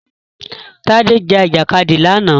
Tádé jà Ìjàkadì lánàá